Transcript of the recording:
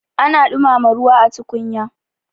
ana dumama ruwa a tukunya